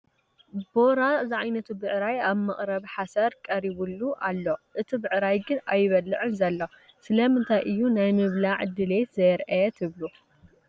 ቦራ ዝዓይነቱ ብዕራይ ኣብ መቕረቢ ሓሰር ቀሪቡሉ ኣሎ፡፡ እቲ ብዕራይ ግን ኣይበልዕን ዘሎ፡፡ ስለምንታይ እዩ ናይ ምብላዕ ድሌት ዘየርአየ ትብሉ?